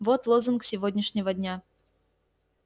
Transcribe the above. вот лозунг сегодняшнего дня